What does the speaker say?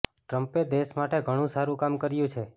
ટ્રમ્પે દેશ માટે ઘણું સારું કામ કર્યું છે